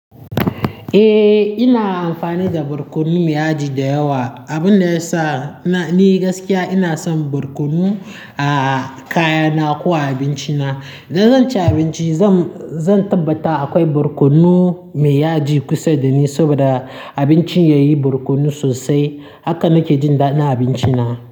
Eh, ina amfani da barkono mai yaji da yawa. Abin da ya sa ni gaskiya ina son barkono a kayana ko a abinci na. Idan zan ci abinci zan, zan tabbata akwai barkono mai yaji kusa dani saboda abincin yayi barkono sosai. Haka nake jin daɗin abinci na.